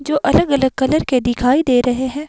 जो अलग अलग कलर के दिखाई दे रहे हैं।